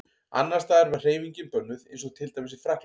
Annars staðar var hreyfingin bönnuð eins og til dæmis í Frakklandi.